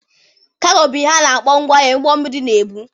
Kaago bụ ihe ha na-akpọ ngwa ahịa ụgbọ mmiri na-ebu.